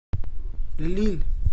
лилль